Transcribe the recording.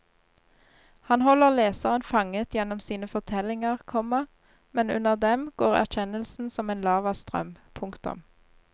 Han holder leseren fanget gjennom sine fortellinger, komma men under dem går erkjennelsen som en lavastrøm. punktum